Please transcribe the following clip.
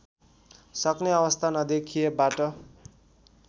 सक्ने अवस्था नदेखिएबाट